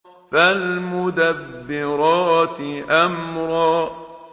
فَالْمُدَبِّرَاتِ أَمْرًا